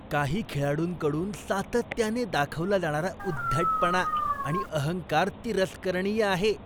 काही खेळाडूंकडून सातत्याने दाखवला जाणारा उद्धटपणा आणि अहंकार तिरस्करणीय आहे.